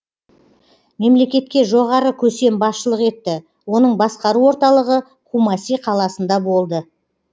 мемлекетке жоғары көсем басшылық етті оның басқару орталығы кумаси қаласында болды